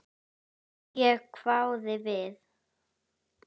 Ég hváði við.